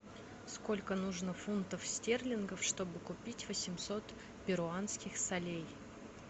сколько нужно фунтов стерлингов чтобы купить восемьсот перуанских солей